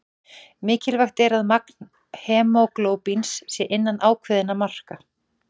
Mikilvægt er að magn hemóglóbíns sé innan ákveðinna marka.